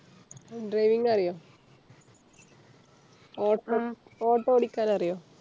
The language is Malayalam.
Driving അറിയോ ഓട്ടം Auto ഓടിക്കാൻ അറിയോ